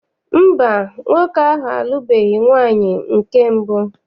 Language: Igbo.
Mba, nwoke ahụ alụbeghi nwaanyị nke mbụ.